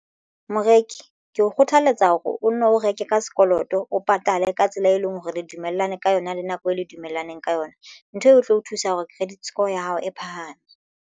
Moreki ke o kgothaletsa hore o nno reke ka sekoloto o patale ka tsela e leng hore re dumellane ka yona le nako eo le dumellaneng ka yona ntho eo o tlo o thusa hore credit score ya hao e phahame.